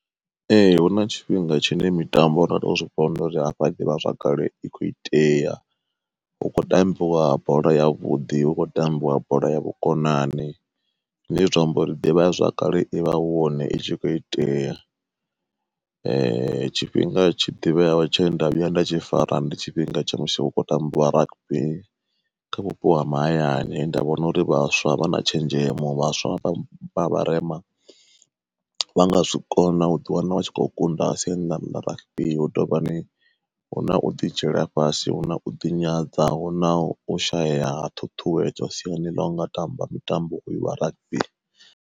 Ee hu na tshifhinga tshine mitambo zwivhona uri hafha ḓivha zwakale i kho itea. Hukho tambiwa bola yavhuḓi hu khou tambiwa bola ya vhukonani, zwine zwa amba uri ḓivha zwakale i vha hone itshi kho itea, tshifhinga tshi ḓivheyaho tshe nda vhuya nda tshi fara ndi tshifhinga tsha musi hu khou tambiwa rugby kha vhupo ha mahayani nda vhona uri vhaswa vha na tshenzhemo vhaswa vha vha vharema vha nga zwi kona u ḓi wana vha tshi khou kunda siani ḽa rugby. Hu tovha ni huna u ḓi dzhiela fhasi, huna u ḓi nyadza, huna u shaya ṱhuṱhuwedzo siani ḽa unga tamba mitambo uyu wa rugby.